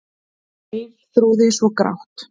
Geirþrúði svo grátt.